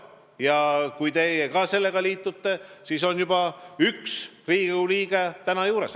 Ja kui teie ka selle mõttega liitute, siis on meil üks toetav Riigikogu liige juures.